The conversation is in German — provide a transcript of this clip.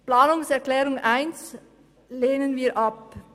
Die Planungserklärung 1 lehnen wir ab.